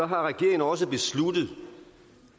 har regeringen også besluttet